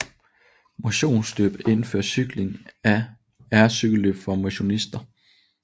Motionsløb indenfor cykling er cykelløb for motionister